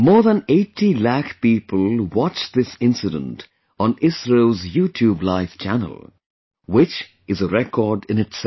More than 80 lakh people watched this incident on ISRO's YouTube Live Channel; which is a record in itself